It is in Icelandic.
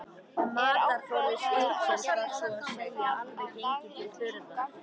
Matarforði skipsins var svo að segja alveg genginn til þurrðar.